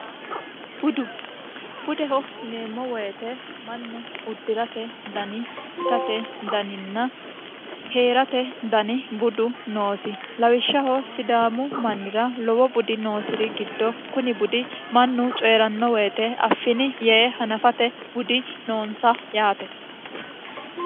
budu budeho yineemmo woyite mannu uddi'rate dani itate daninna heerate dani budu noosi lawishshaho sidaamu mannira lowo budi noosi'ri giddo kuni budi mannu coyiranno woyite affini yee hanafate budi noonsa yaate